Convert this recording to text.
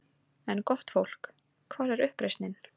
En gott fólk: Hvar er uppreisnin?